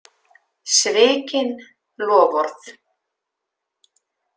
Svikin loforð.